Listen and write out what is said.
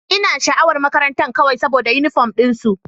Ina sha'awar makarantar kawai saboda uniform din su.